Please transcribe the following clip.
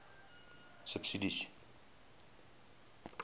subsidies